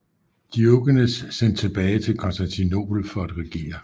Diogenes sendt tilbage til Konstantinopel for at regere